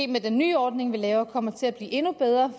med den nye ordning vi laver måske kommer til at blive endnu bedre